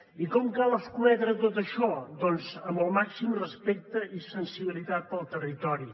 i com cal escometre tot això doncs amb el màxim respecte i sensibilitat pel territori